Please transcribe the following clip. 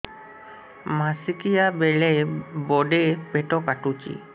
ମାସିକିଆ ବେଳେ ବଡେ ପେଟ କାଟୁଚି